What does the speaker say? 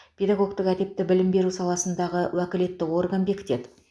педагогтік әдепті білім беру саласындағы уәкілетті орган бекітеді